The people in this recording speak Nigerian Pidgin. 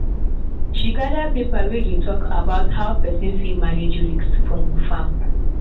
she gather paper wey dey talk how pesin fit manage risk for e farm.